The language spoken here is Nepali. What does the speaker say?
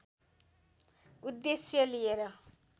उद्देश्य लिएर